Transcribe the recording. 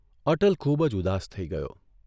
અટલ ખૂબજ ઉદાસ થઇ ગયો.